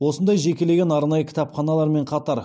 осындай жекеленген арнайы кітапханалармен қатар